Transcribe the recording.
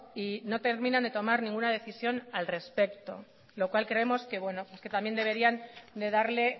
y no terminan de tomar ninguna decisión al respecto lo cual creemos que también deberían de darle